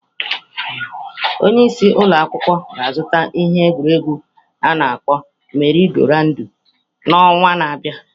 Onye isi ụlọ akwụkwọ ga-azụta ihe egwuregwu a na akpọ meri-go-roundu n'ọnwa na-abịa.